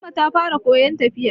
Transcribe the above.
Fatima ta fara koyan tafiya